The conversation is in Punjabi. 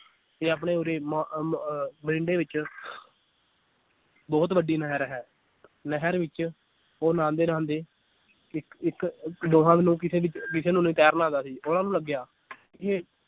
ਤੇ ਆਪਣੇ ਉਰ੍ਹੇ ਮ~ ਅਹ ਮਰਿੰਡੇ ਵਿਚ ਬਹੁਤ ਵੱਡੀ ਨਹਿਰ ਹੈ ਨਹਿਰ ਵਿਚ ਉਹ ਨਾਹਾਂਦੇ ਨਹਾਂਦੇ ਇੱਕ ਇੱਕ ਦੋਹਾਂ ਨੂੰ ਕਿਸੇ ਕਿਸੇ ਨੂੰ ਨੀ ਤੈਰਨਾ ਆਂਦਾ ਸੀ ਉਹਨਾਂ ਨੂੰ ਲੱਗਿਆ ਕਿ ਇਹ